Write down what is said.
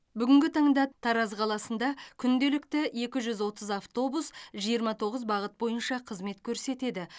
бүгінгі таңда тараз қаласында күнделікті екі жүз отыз автобус жиырма тоғыз бағыт бойынша қызмет көрсетеді